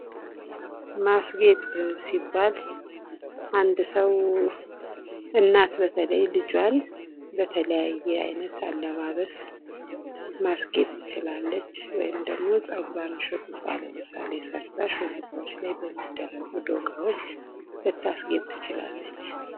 ማስጌጥ ሲባል አንድ ሰው እናት በተለይ ልጇን በተለያየ አይነት አለባበስ ማስጌጥ ትችላለች። ወይም ደግሞ ጸጉሯን ሹርባ ለምሳሌ ሰርታ ሹርባዎች ላይ በሚደረጉ እቃዎች ልታስጌጥ ትችላለች።